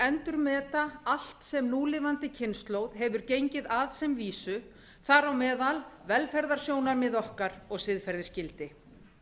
endurmeta allt sem núlifandi kynslóð hefur gengið að sem vísu þar á meðal velferðarsjónarmið okkar og siðferðisgildi